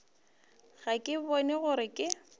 ga ke bone gore ke